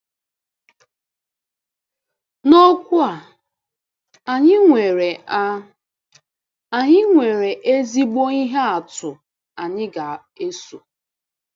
N'okwu a, anyị nwere a, anyị nwere ezigbo ihe atụ anyị ga-eso.